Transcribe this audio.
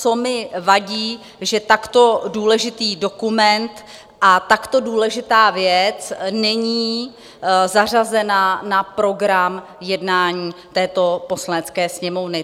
Co mi vadí, že takto důležitý dokument a takto důležitá věc není zařazena na program jednání této Poslanecké sněmovny.